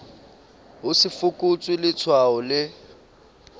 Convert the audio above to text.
ho se fokotswe letshwao le